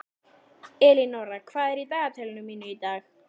Elínóra, hvað er í dagatalinu mínu í dag?